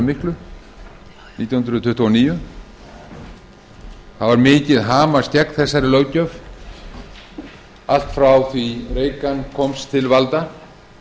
miklu nítján hundruð tuttugu og níu það var mikið hamast gegn þessari löggjöf allt frá því reagan komst til valda